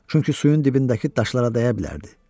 Çünki suyun dibindəki daşlara dəyə bilərdi.